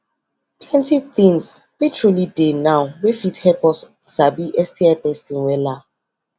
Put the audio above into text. plenty things were truely dey now wey fit help us sabi sti testing wella